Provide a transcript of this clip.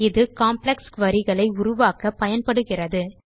இது காம்ப்ளெக்ஸ் queryகளை உருவாக்க பயன்படுகிறது